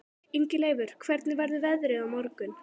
Ingileifur, hvernig verður veðrið á morgun?